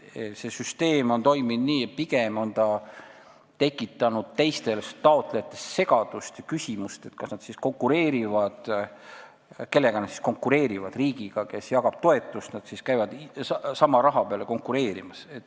See süsteem toimis nii, tekitades teistes taotlejates pigem segadust ja küsimusi, kellega nad konkureerivad – kas nad käivad riigiga, kes jagab toetust, sama raha peale konkureerimas.